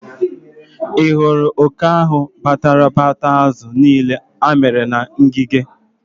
Ị hụrụ oke ahụ batara bia taa azụ niile amịrị na ngịga?